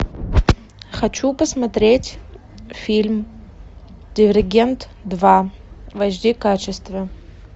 хочу посмотреть фильм дивергент два в аш ди качестве